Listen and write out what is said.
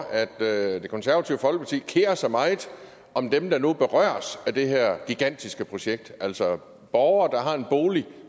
at det konservative folkeparti kerer sig meget om dem der nu berøres af det her gigantiske projekt altså borgere der har en bolig